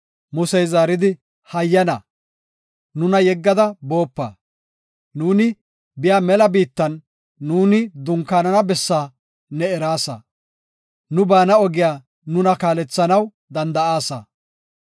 Musey zaaridi, “Hayyana, nuna yeggada boopa. Nu biya mela biittan nuuni dunkaanana bessaa ne eraasa; nu baana ogiya nuna kaalethanaw danda7aasa.